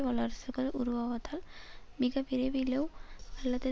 வல்லரசுகள் உருவாவதால் மிக விரைவிலோ அல்லது